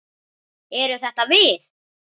Eru þetta við?